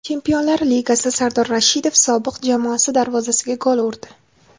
Chempionlar Ligasi: Sardor Rashidov sobiq jamoasi darvozasiga gol urdi .